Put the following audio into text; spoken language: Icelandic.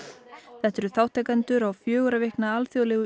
þetta eru þátttakendur á fjögurra vikna alþjóðlegu